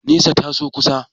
Nesa, ta zo kusa.